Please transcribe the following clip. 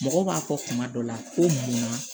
Mɔgɔ b'a fɔ kuma dɔ la ko munna